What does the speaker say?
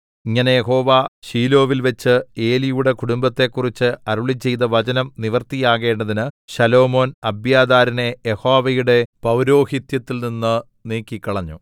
ഇങ്ങനെ യഹോവ ശീലോവിൽവെച്ച് ഏലിയുടെ കുടുംബത്തെക്കുറിച്ച് അരുളിച്ചെയ്ത വചനം നിവൃത്തിയാകേണ്ടതിന് ശലോമോൻ അബ്യാഥാരിനെ യഹോവയുടെ പൌരോഹിത്യത്തിൽനിന്ന് നീക്കിക്കളഞ്ഞു